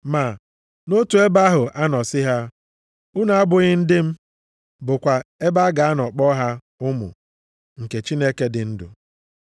Ma, “Nʼotu ebe ahụ a nọ sị ha, ‘Unu abụghị ndị m,’ bụkwa ebe a ga-anọ kpọọ ha, ‘Ụmụ + 9:26 Ya bụ, ụmụ ndị ikom nke Chineke dị ndụ. ’”+ 9:26 \+xt Hos 1:10\+xt*